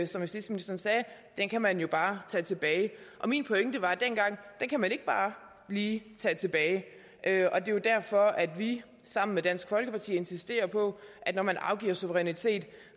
som justitsministeren sagde at den kan man jo bare tage tilbage min pointe var dengang at den kan man ikke bare lige tage tilbage det er jo derfor at vi sammen med dansk folkeparti insisterer på at når man afgiver suverænitet